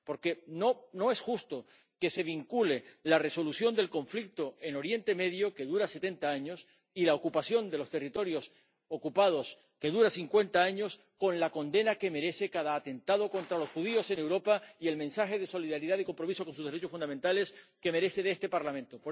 Porque no es justo que se vincule la resolución del conflicto en Oriente Medio, que dura setenta años, y la ocupación de los territorios ocupados, que dura cincuenta años, con la condena que merece cada atentado contra los judíos en Europa y el mensaje de solidaridad y compromiso con sus derechos fundamentales que merece de este Parlamento.